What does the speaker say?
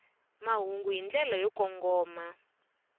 mahungu hi ndlela yo kongoma